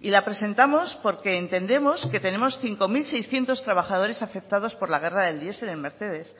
y la presentamos porque entendemos que tenemos cinco mil seiscientos trabajadores afectados por la guerra del diesel en mercedes